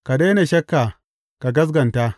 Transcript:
Ka daina shakka ka gaskata.